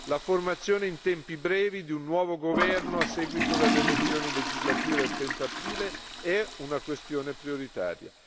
La formazione in tempi brevi di un nuovo governo a seguito delle elezioni legislative del 30 aprile è una questione prioritaria.